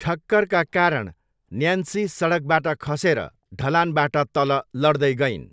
ठक्करका कारण न्यान्सी सडकबाट खसेर ढलानबाट तल लड्दै गइन्।